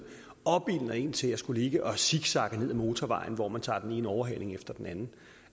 opildner en til at skulle ligge og zigzagge ned ad motorvejen hvor man tager den ene overhaling efter den